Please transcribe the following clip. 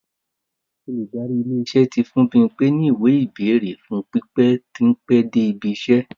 Olùdarí ilé-iṣẹ́ tí fún Bímpe ní ìwé-ìbẹ́ẹ̀rè fún pípẹ́ tó pẹ́ dé ibi-iṣẹ́.